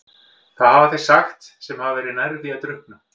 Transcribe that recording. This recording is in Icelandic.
Það hafa þeir sagt sem hafa verið nærri því að drukkna.